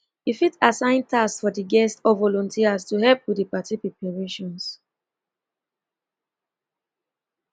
you fit assign tasks for di guests or volunteers to help with di party preparations